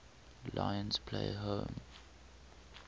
lions play home